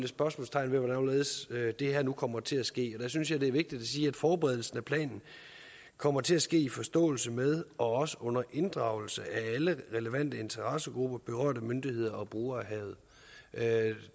spørgsmålstegn ved hvordan og hvorledes det her nu kommer til at ske der synes jeg det er vigtigt at forberedelsen af planen kommer til at ske i forståelse med og også under inddragelse af alle relevante interessegrupper berørte myndigheder og brugere af havet